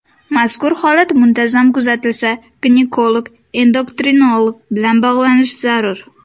Mazkur holat muntazam kuzatilsa, ginekolog-endokrinolog bilan bog‘lanish zarur.